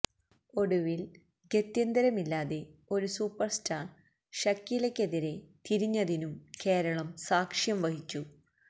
ഒടുവില് ഗത്യന്തരമില്ലാതെ ഒരു സൂപ്പര് സ്റ്റാര് ഷക്കീലക്കെതിരെ തിരിഞ്ഞതിനും കേരളം സാക്ഷ്യം വഹിച്ചു